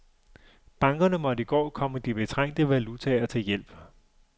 Bankerne måtte i går komme de betrængte valutaer til hjælp.